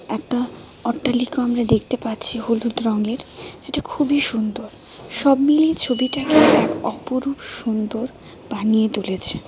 একটা অট্টালিকাও আমরা দেখতে পাচ্ছি হলুদ রঙের যেটা খুবই সুন্দর সব মিলিয়ে ছবিটা এক অপরূপ সুন্দর বানিয়ে তুলেছে .